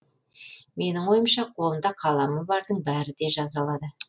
менің ойымша қолында қаламы бардың бәрі де жаза алады